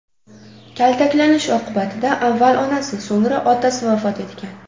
Kaltaklanish oqibatida avval onasi, so‘ngra otasi vafot etgan.